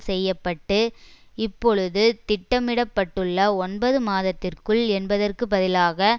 செய்ய பட்டு இப்பொழுது திட்டமிட பட்டுள்ள ஒன்பது மாதத்திற்குள் என்பதற்கு பதிலாக